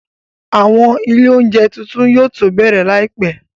Àwọn ilé oúnjẹ tuntun yóò tó bẹ̀rẹ̀ láìpẹ́